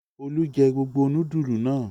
Olú jẹ gbogbo núdúlù náà?